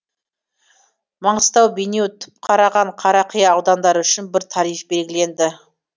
маңғыстау бейнеу түпқараған қарақия аудандары үшін бір тариф белгіленді